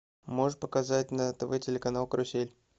можешь показать на тв телеканал карусель